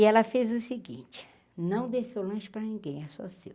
E ela fez o seguinte, não dê seu o lanche para ninguém, é só seu.